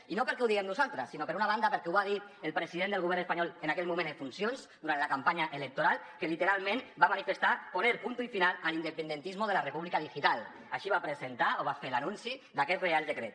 i no perquè ho diguem nosaltres sinó per una banda perquè ho va dir el president del govern espanyol en aquell moment en funcions durant la campanya electoral que literalment va manifestar poner punto y final al independentismo de la república digital així va presentar o va fer l’anunci d’aquest reial decret